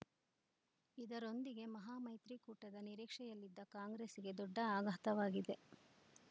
ಇದರೊಂದಿಗೆ ಮಹಾಮೈತ್ರಿಕೂಟದ ನಿರೀಕ್ಷೆಯಲ್ಲಿದ್ದ ಕಾಂಗ್ರೆಸ್‌ಗೆ ದೊಡ್ಡ ಆಘಾತವಾಗಿದೆ